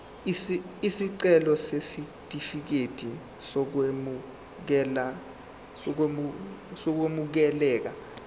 isicelo sesitifikedi sokwamukeleka